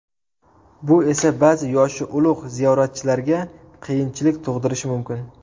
Bu esa ba’zi yoshi ulug‘ ziyoratchilarga qiyinchilik tug‘dirishi mumkin.